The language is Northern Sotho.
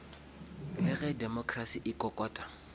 le ge democracy e kokota